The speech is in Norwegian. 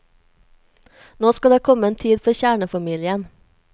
Nå skal det komme en tid for kjernefamilien.